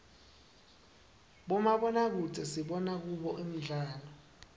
bomabonakudze sibona kubo imdlalo